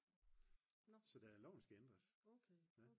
så loven skal ændres